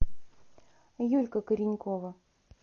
юлька коренькова